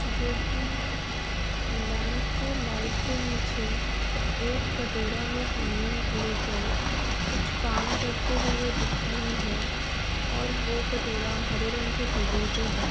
जो कि लैंप के लाइट के नीचे एक कटोरा में पानी लेकर कुछ काम करते हुए दिख रही है और वो कटोरा हरे रंग के टेबल पे है।